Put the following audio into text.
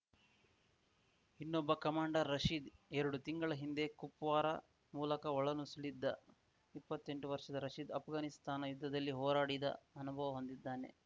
ಇನ್ನೊಬ್ಬ ಕಮಾಂಡರ್ ರಶೀದ್‌ ಎರಡು ತಿಂಗಳ ಹಿಂದೆ ಕುಪ್ವಾರಾ ಮೂಲಕ ಒಳನುಸುಳಿದ್ದ ಇಪ್ಪತ್ತೆಂಟು ವರ್ಷದ ರಶೀದ್‌ ಆಷ್ಘಾನಿಸ್ತಾನ ಯುದ್ಧದಲ್ಲಿ ಹೋರಾಡಿದ ಅನುಭವ ಹೊಂದಿದ್ದಾನೆ